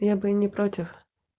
я бы не против